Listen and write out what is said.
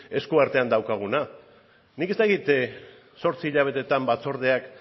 eskuartean daukaguna nik ez dakit zortzi hilabetetan batzordeak